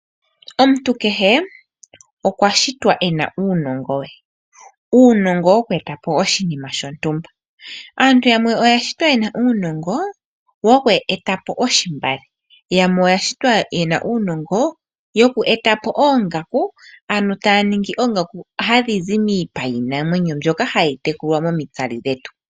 Omuntu keshe okwa shitwa ena uunongo we ,uunongo woku etapo oshinima shontumba ,aantu yamwe oya shitwa yena uunongo woku etapo oshimbale yamwe oya shitwa yena uunongo woku etapo oongaku, ano taningi oongaku hadhizi miipa yinamwenyo mbyoka hayi tekulwa momitsali dhetu.